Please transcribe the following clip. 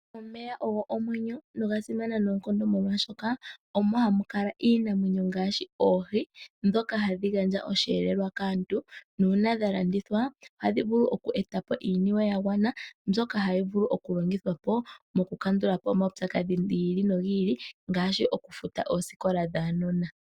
Omeya ogo omwenyo nogasimana noonkondo molwashoka omo hamukala iinamwenyo ngaashi oohi ndhoka hadhi gandja osheelelwa kaantu, nuuna dhalandithwa ohadhi vulu oku etapo iiniwe yagwana mbyoka tayi vulu okulonithwapo okukandula omawupyakadhi giili no giili ngaashi okufuta oisikola dhaanona.